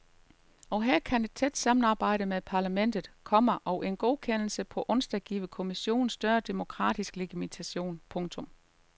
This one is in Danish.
Og her kan et tæt samarbejde med parlamentet, komma og en godkendelse på onsdag give kommissionen større demokratisk legitimitet. punktum